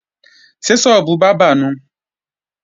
Ṣé sọ́ọ́bù bábà nùu?